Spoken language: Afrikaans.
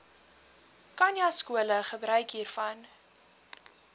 khanyaskole gebruik hiervan